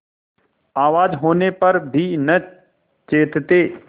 आवाज होने पर भी न चेतते